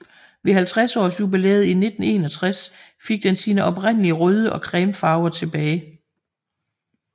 Ved 50 års jubilæet i 1961 fik den sine oprindelige røde og creme farver tilbage